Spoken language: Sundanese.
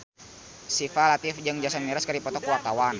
Syifa Latief jeung Jason Mraz keur dipoto ku wartawan